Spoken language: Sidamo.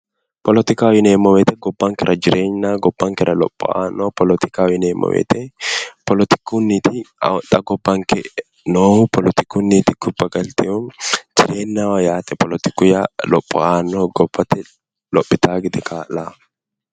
Politikaho yineemmo woyte gobbankera jireegnaho, gobbankera lopho aanno, politikaho yineemmo woyte politikunni xa gobbanke noohu, politikunni gobba galteehu teenaho yaate politiku lopho aannoho gobbate lophitaawo gede kaa"laho.